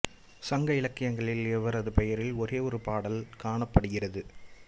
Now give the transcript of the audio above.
சங்க இலக்கியங்களில் இவரது பெயரில் ஒரே ஒரு பாடல் காணப்படுகிறது